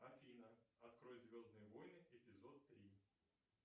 афина открой звездные войны эпизод три